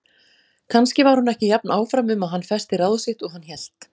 Kannski var hún ekki jafn áfram um að hann festi ráð sitt og hann hélt.